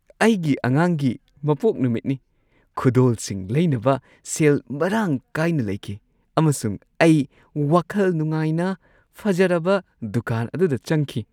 ꯑꯩꯒꯤ ꯑꯉꯥꯡꯒꯤ ꯃꯄꯣꯛ ꯅꯨꯃꯤꯠꯀꯤ ꯈꯨꯗꯣꯜꯁꯤꯡ ꯂꯩꯅꯕ ꯁꯦꯜ ꯃꯔꯥꯡ ꯀꯥꯏꯅ ꯂꯩꯈꯤ ꯑꯃꯁꯨꯡ ꯑꯩ ꯋꯥꯈꯜ ꯅꯨꯡꯉꯥꯏꯅ ꯐꯖꯔꯕ ꯗꯨꯀꯥꯟ ꯑꯗꯨꯗ ꯆꯪꯈꯤ ꯫